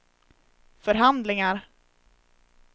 förhandlingar